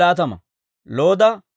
Hariima yaratuu 1,017.